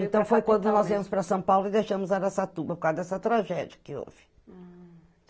Então foi quando nós viemos para São Paulo e deixamos Araçatuba por causa dessa tragédia que houve. Hm